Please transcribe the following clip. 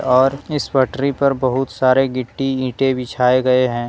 और इस पटरी पर बहुत सारे गिट्टी ईंटे बिछाए गए है।